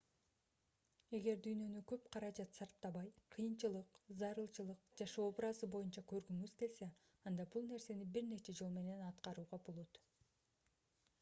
эгер дүйнөнү көп каражат сарптабай кыйынчылык зарылчылык жашоо образы боюнча көргүңүз келсе анда бул нерсени бир нече жол менен аткарууга болот